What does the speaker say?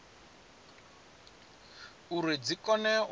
uri dzi kone u badela